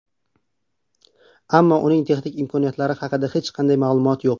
Ammo uning texnik imkoniyatlari haqida hech qanday ma’lumot yo‘q.